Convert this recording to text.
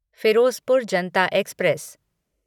Firozpur Janata express